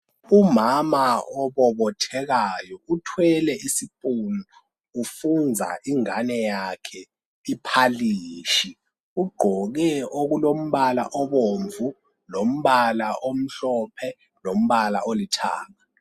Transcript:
Umama obobothekayo uthwele isipunu ufunza ingane yakhe iphalishi ugqoke okulombala obomvu lombala omhlophe lombala olithanga.